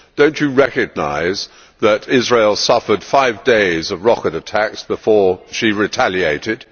Do you not recognise that Israel suffered five days of rocket attacks before she retaliated?